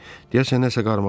Deyəsən nəsə qarmağa keçib.